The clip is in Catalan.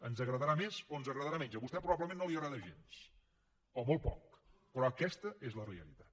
ens agradarà més o ens agradarà menys a vostè probablement no li agrada gens o molt poc però aquesta és la realitat